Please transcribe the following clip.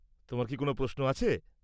তোমার কি কোনও প্রশ্ন আছে?